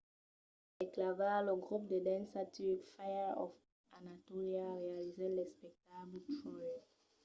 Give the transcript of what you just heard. per clavar lo grop de dança turc fire of anatolia realizèt l’espectacle troy